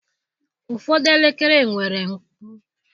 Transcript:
Ụfọdụ elekere nwere mkpu.